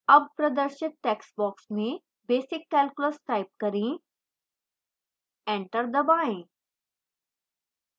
अब प्रदर्शित text box में basic calculus type करें enter दबाएं